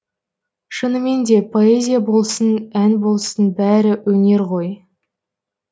шынымен де поэзия болсын ән болсын бәрі өнер ғой